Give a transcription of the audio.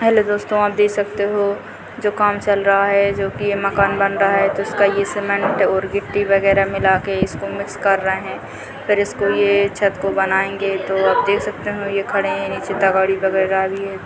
Hello दोस्तों आप देख सकते हो जो काम चल रहा है जो कि यह मकान बन रहा है तो जिसका यह सीमेंट और गिट्टी वगैरा मिला के इसको मिक्स कर रहे हैं फिर इसको ये छत को बनाएंगे तो देख सकते हैं ये खड़े हैं नीचे तगाड़ी वगरह भी है।